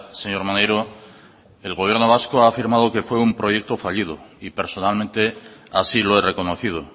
señor maneiro el gobierno vasco ha afirmado que fue un proyecto fallido y personalmente así lo he reconocido